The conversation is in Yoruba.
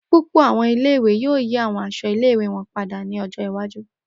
Pupọ awọn ile-iwe yoo yi awọn aṣọ ile-iwe wọn pada ni ọjọ iwaju.